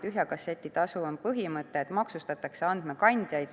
Tühja kasseti tasu põhimõttel maksustatakse andmekandjaid.